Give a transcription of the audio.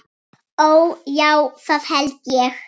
Ó, já, það held ég.